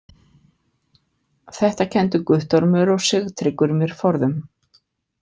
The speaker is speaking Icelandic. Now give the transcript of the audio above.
Þetta kenndu Guttormur og Sigtryggur mér forðum.